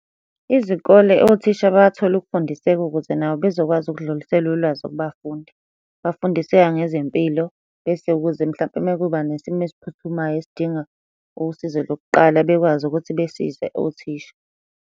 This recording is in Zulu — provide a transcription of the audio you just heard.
Izikole othisha bathole ukufundiseka ukuze nabo bezokwazi ukudlulisela ulwazi kubafundi. Bafundiseka ngezempilo, bese ukuze mhlampe uma kuba nesimo esiphuthumayo esidinga usizo lokuqala bekwazi ukuthi besize othisha.